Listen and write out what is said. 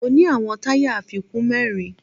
Mo ní àwọn táyà àfikún mẹ́rin